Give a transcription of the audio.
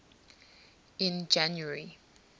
in january